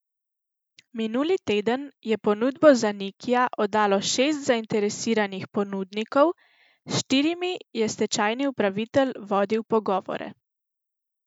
Minuli teden je ponudbo za Nikija oddalo šest zainteresiranih ponudnikov, s štirimi je stečajni upravitelj vodil pogovore.